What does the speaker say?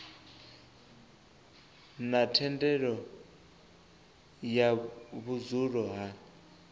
na thendelo ya vhudzulo ha